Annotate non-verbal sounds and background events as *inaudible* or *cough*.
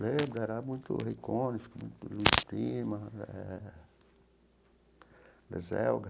Lembro, era muito. *unintelligible*